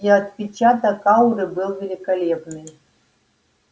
и отпечаток ауры был великолепный